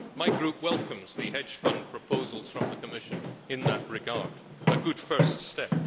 My group welcomes the hedge fund proposals from the Commission in that regard as a good first step.